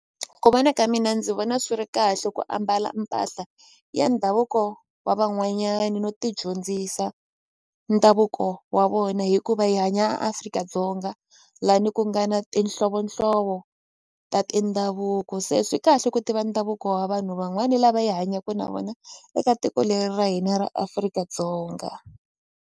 Ku vona ka mina ndzi vona swi ri kahle ku ambala mpahla ya ndhavuko wa van'wanyani no ti dyondzisa ndhavuko wa vona hikuva hi hanya Afrika-Dzonga lani ku nga na tinhlovonhlovo ta tindhavuko se swi kahle ku tiva ndhavuko wa vanhu van'wani lava hi hanyaku na vona eka tiko leri ra hina ra Afrika-Dzonga.